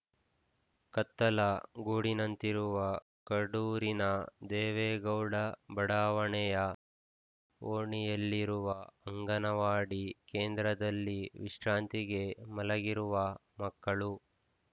ಕತ್ತಲ ಗೂಡಿನಂತಿರುವ ಕಡೂರಿನ ದೇವೇಗೌಡ ಬಡಾವಣೆಯ ಓಣಿಯಲ್ಲಿರುವ ಅಂಗನವಾಡಿ ಕೇಂದ್ರದಲ್ಲಿ ವಿಶ್ರಾಂತಿಗೆ ಮಲಗಿರುವ ಮಕ್ಕಳು